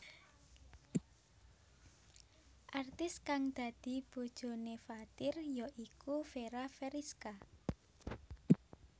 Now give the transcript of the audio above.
Artis kang dadi bojoné Fathir ya iku Fera Feriska